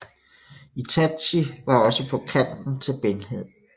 Itachi var også på kanten til blindhed